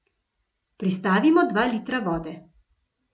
Pristavimo dva litra vode.